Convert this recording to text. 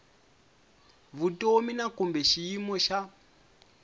vutomi na kumbe xiyimo xa